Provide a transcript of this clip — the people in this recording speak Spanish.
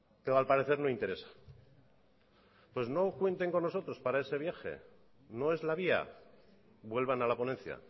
pero al parecer no interesa pues no cuenten con nosotros para ese viaje no es la vía vuelvan a la ponencia